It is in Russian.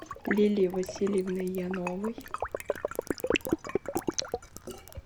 лилии васильевны яновой